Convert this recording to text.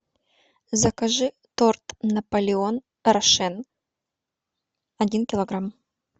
закажи торт наполеон рошен один килограмм